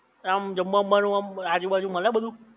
આમ જમવા વમવા નું આજુ બાજુ મલે બધુ?